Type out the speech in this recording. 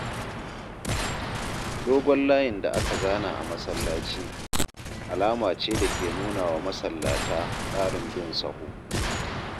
dogon layin da aka zana a masallaci, alama ce da ke nunawa masallata tsarin bin sahu.